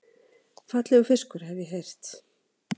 Fallegur fiskur, hef ég heyrt